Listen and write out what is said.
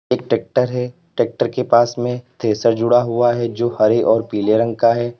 एक ट्रैक्टर है ट्रैक्टर के पास में थ्रेसर जुड़ा हुआ है जो हरे और पीले रंग का है।